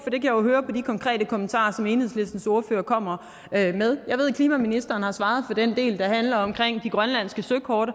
jeg jo høre på de konkrete kommentarer som enhedslistens ordfører kommer med jeg ved at klimaministeren har svaret på den del der handler om de grønlandske søkort